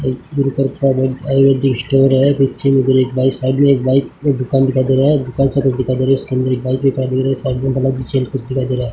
ये गुरुकृपा आयुर्वेदिक स्टोर है नीचे मे एक बाइक साइड में एक बाइक एक दुकान दिखाई दे रहा है एक दुकान सा कुछ दिखाई दे रहा है और उसके अंदर दिखाई दे रहा --